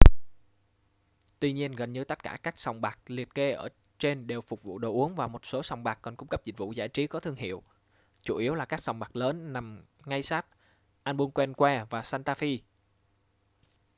tuy nhiên gần như tất cả các sòng bạc liệt kê ở trên đều phục vụ đồ uống và một số sòng bạc còn cung cấp dịch vụ giải trí có thương hiệu chủ yếu là các sòng bạc lớn nằm ngay sát albuquerque và santa fe